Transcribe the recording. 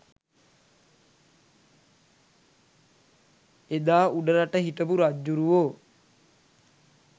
එදා උඩරට හිටපු රජ්ජුරුවෝ